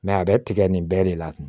a bɛ tigɛ nin bɛɛ de la